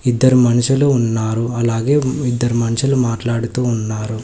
ఇద్దరు మనుషులు ఉన్నారు అలాగే ఇద్దరు మనుషులు మాట్లాడుతూ ఉన్నారు.